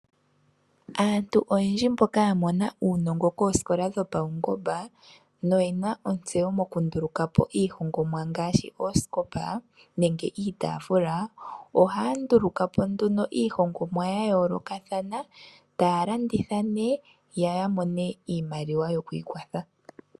Aantu oyendji mboka ya mona uunongo koosikola dhopaungomba noye na ontseyo mokundulukapo iihongomwa ngaashi oosikopa nenge iitafula oha ya ndulukapo nduno iihongomwa ya yoolokathana taya landitha nee yo ya mone iimaliwa yokwiikwatha.